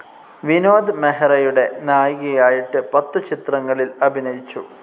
വിനോദ് മെഹ്റയുടെ നായികയായിട്ട് പത്തു ചിത്രങ്ങളിൽ അഭിനയിച്ചു.